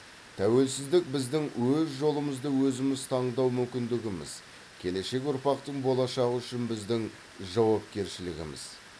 тәуелсіздік біздің өз жолымызды өзіміз таңдау мүмкіндігіміз келешек ұрпақтың болашағы үшін біздің жауапкершілігіміз